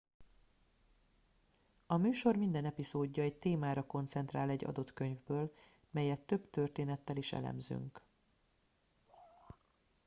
a műsor minden epizódja egy témára koncentrál egy adott könyvből melyet több történettel is elemzünk